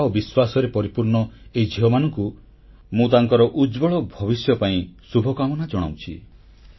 ଆଶା ଓ ବିଶ୍ୱାସରେ ପରିପୂର୍ଣ୍ଣ ଏହି ଝିଅମାନଙ୍କୁ ମୁଁ ତାଙ୍କର ଉଜ୍ଜ୍ୱଳ ଭବିଷ୍ୟ ପାଇଁ ଶୁଭକାମନା ଜଣାଉଛି